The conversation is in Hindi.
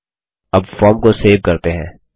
अब फॉर्म को सेव करते हैं